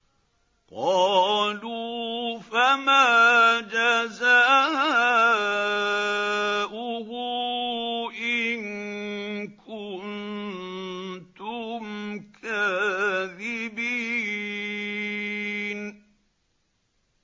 قَالُوا فَمَا جَزَاؤُهُ إِن كُنتُمْ كَاذِبِينَ